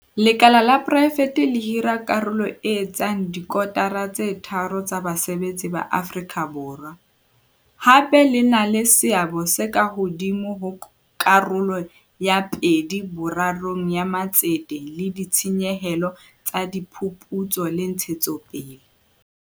Lekala la poraefete le hira karolo e etsang dikotara tse tharo tsa basebetsi ba Afrika Borwa, hape le na le seabo se ka hodimo ho karolo ya pedi-borarong ya matsete le ditshenyehelo tsa diphuputso le ntshetsopele.